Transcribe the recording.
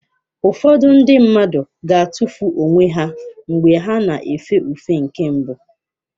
Ụfọdụ ndị mmadụ ga-atụfu onwe ha mgbe ha na-efe ufe nke mbụ.